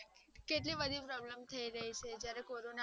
કેટલી બધી problem થઈ રહી છે